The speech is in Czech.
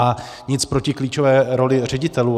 A nic proti klíčové roli ředitelů.